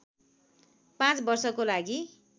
पाँच वर्षको लागि